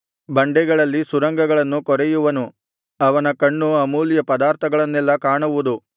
ಬಂಡೆಗಳಲ್ಲಿ ಸುರಂಗಗಳನ್ನು ಕೊರೆಯುವನು ಅವನ ಕಣ್ಣು ಅಮೂಲ್ಯ ಪದಾರ್ಥಗಳನ್ನೆಲ್ಲಾ ಕಾಣುವುದು